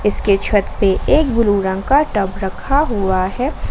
इसके छत पे एक ब्लू रंग का टब रखा हुआ है।